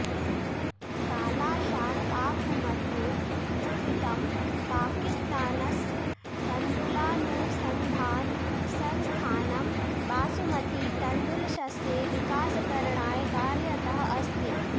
काला शाह काकु मध्ये स्थितं पाकिस्तानस्य तण्डुलानुसन्धानसंस्थानं बासुमती तण्डुलशस्ये विकासकरणाय कार्यरतः अस्ति